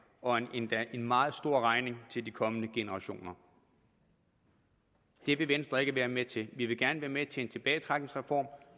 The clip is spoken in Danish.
og en endda meget stor regning til de kommende generationer det vil venstre ikke være med til men vi vil gerne være med til en tilbagetrækningsreform